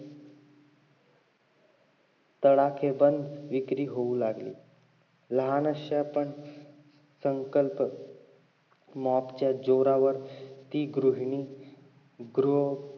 तडाखेबंद विक्री होऊ लागली लहान अश्या पण संकल्प mop च्या जोरावर ती गृहिणी गृह